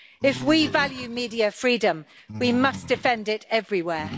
If we value media freedom, we must defend it everywhere.